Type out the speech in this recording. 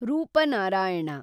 Rupnarayan